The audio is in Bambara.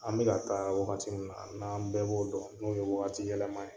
An bɛ ka taa wagati min na n'an bɛɛ b'o dɔn n'o ye wagatiyɛlɛma ye